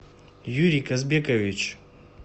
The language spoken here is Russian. юрий казбекович